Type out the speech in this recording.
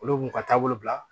Olu b'u ka taabolo bila